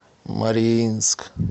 мариинск